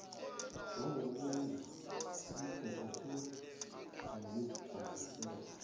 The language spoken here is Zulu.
njengokungezwa ubumpumputhe nokukhubazeka